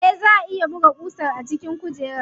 Eh, zaa a iya buga ƙusar a cikin kujerar.